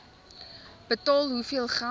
betaal hoeveel geld